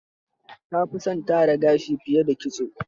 Ta fi son tara gashi fiye da kitso.